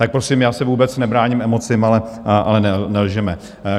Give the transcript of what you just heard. Tak prosím, já se vůbec nebráním emocím, ale nelžeme.